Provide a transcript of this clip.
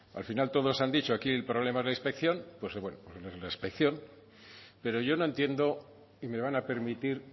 al final todos han dicho aquí el problema es la inspección pues bueno la inspección pero yo no entiendo y me van a permitir